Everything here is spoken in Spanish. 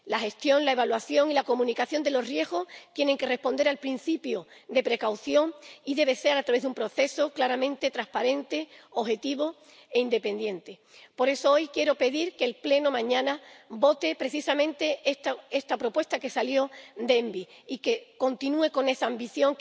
La gestión, la evaluación y la comunicación de los riesgos tienen que responder al principio de precaución y deben hacerse a través de un proceso claramente transparente, objetivo e independiente. Por eso, hoy quiero pedir que el Pleno mañana apruebe precisamente esta propuesta que salió de la Comisión ENVI y que continúe con esa ambición,